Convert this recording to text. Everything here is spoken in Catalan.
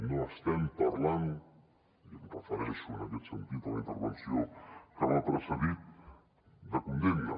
no estem parlant i em refereixo en aquest sentit a la intervenció que m’ha precedit de condemnes